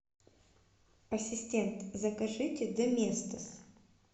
ассистент закажите доместос